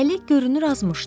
Əli görünür azmışdı.